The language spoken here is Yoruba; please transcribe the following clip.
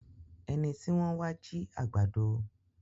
ẹní tí wón wa jì àgbàdo.